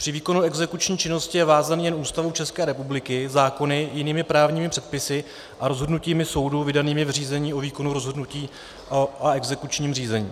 Při výkonu exekuční činnosti je vázaný jen Ústavou České republiky, zákony, jinými právními předpisy a rozhodnutími soudu vydanými v řízení o výkonu rozhodnutí a exekučním řízení.